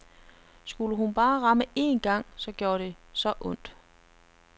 Skulle hun bare ramme én gang, så gjorde det så ondt.